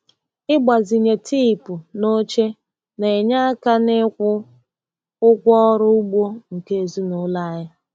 Ịgbazinye teepu na oche na-enye aka n'ikwụ ụgwọ ọrụ ugbo nke ezinụlọ anyị.